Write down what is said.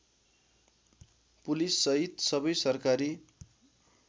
पुलिससहित सबै सरकारी